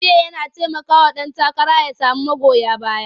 Kamfen yana taimakawa ɗan takara ya samu magoya baya.